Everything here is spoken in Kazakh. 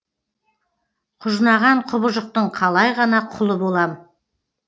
құжынаған құбыжықтың қалай ғана құлы болам